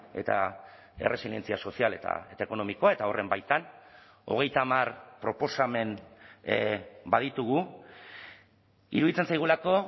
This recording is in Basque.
eta erresilientzia sozial eta ekonomikoa eta horren baitan hogeita hamar proposamen baditugu iruditzen zaigulako